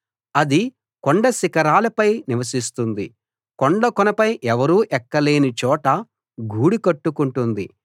అది కొండశిఖరాలపై నివసిస్తుంది కొండకొనపై ఎవరూ ఎక్కలేని చోట గూడు కట్టుకుంటుంది